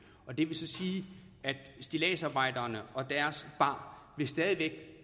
det vil så sige at stilladsarbejderne og deres bar stadig